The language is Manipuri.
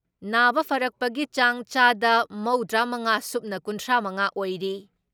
ꯅꯥꯕ ꯐꯔꯛꯄꯒꯤ ꯆꯥꯡ ꯆꯥꯗ ꯃꯧꯗ꯭ꯔꯥ ꯃꯉꯥ ꯁꯨꯞꯅ ꯀꯨꯟꯊ꯭ꯔꯥ ꯃꯉꯥ ꯑꯣꯏꯔꯤ ꯫